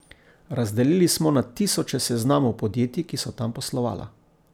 Razdelili smo na tisoče seznamov podjetij, ki so tam poslovala.